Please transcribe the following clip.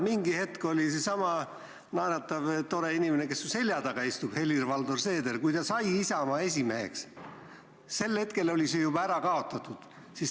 Ma tean, et kui seesama naeratav tore inimene, kes su selja taga istub, Helir-Valdor Seeder, sai Isamaa esimeheks, siis oli see juba ära kaotatud.